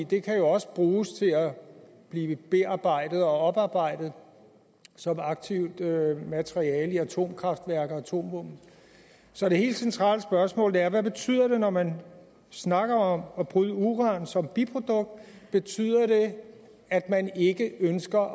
det kan jo også bruges til at blive bearbejdet og oparbejdet som aktivt materiale i atomkraftværker og atomvåben så det helt centrale spørgsmål er hvad betyder det når man snakker om at bryde uran som biprodukt betyder det at man ikke ønsker at